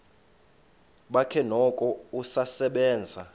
bakhe noko usasebenza